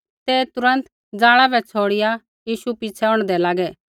ते तुरन्त जाला बै छ़ौड़िआ यीशु पिछ़ै औंढदै लागै